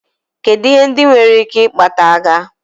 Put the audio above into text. Kedụ ihe ndị nwere ike ikpata agha.